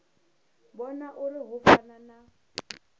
vhona uri hu fana na